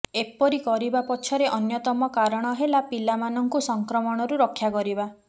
ଏପରି କରିବା ପଛରେ ଅନ୍ୟତମ କାରଣ ହେଲା ପିଲାମାନଙ୍କୁ ସଂକ୍ରମଣରୁ ରକ୍ଷା କରିବା